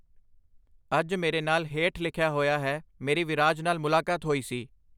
ਅੱਜ ਮੇਰੇ ਨਾਲ ਹੇਠ ਲਿਖਿਆਂ ਹੋਇਆ ਹੈ ਮੇਰੀ ਵਿਰਾਜ ਨਾਲ ਮੁਲਾਕਾਤ ਹੋਈ ਸੀ